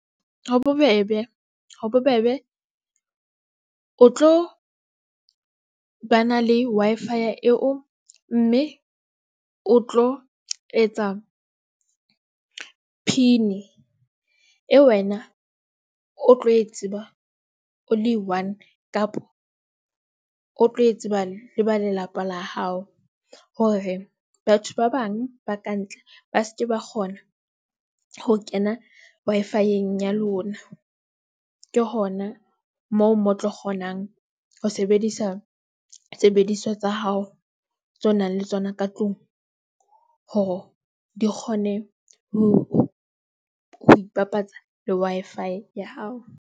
Ho bobebe, ho bobebe o tlo ba na le Wi-Fi ya eo, mme o tlo etsa PIN eo, wena o tlo e tseba, o le one kapa o tlo e tseba le ba lelapa la hao. Hore batho ba bang ba ka ntle ba seke ba kgona ho kena Wi -Fi eng ya lona. Ke hona moo mo o tlo kgonang ho sebedisa sebediswa tsa hao tso nang le tsona ka tlung hore di kgone ho, ho ipapatsa le Wi-Fi ya hao.